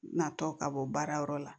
Natɔ ka bɔ baara yɔrɔ la